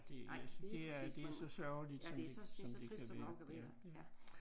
Det altså det er det er så sørgeligt som det som det kan være ja